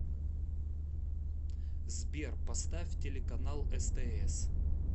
сбер поставь телеканал стс